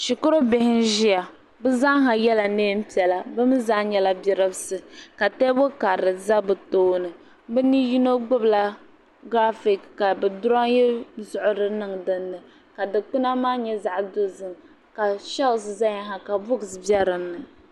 Shikuru bihi n ʒia bɛ zaa ha yela niɛn'piɛla bɛ mee zaa ha nyɛla bidibsi ka teebuli karili za bɛ tooni bɛ ni yino gbibila girafiki ka di diroyi laɣari niŋ dinni ka dikpina maa nyɛ zaɣa dozim ka sheeli nima zaya ha ka bukunima be dinni.